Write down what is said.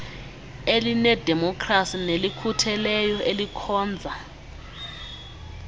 elinedemokhrasi nelikhutheleyo elikhonza